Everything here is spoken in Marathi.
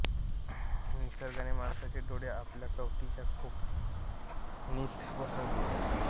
निसर्गाने माणसाचे डोळे आपल्या कवटीच्या खोबणीत बसवले आहेत